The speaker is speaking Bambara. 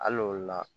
Hali olu la